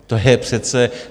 To je přece...